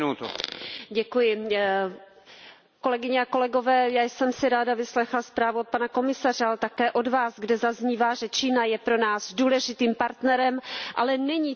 Kolegyně a kolegové, já jsem si ráda vyslechla zprávu od pana komisaře, ale také od vás, kde zaznívá, že Čína je pro nás důležitým partnerem, ale není to země s tržním hospodářstvím.